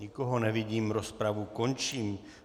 Nikoho nevidím, rozpravu končím.